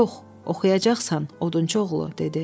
Yox, oxuyacaqsan, odunçu oğlu dedi.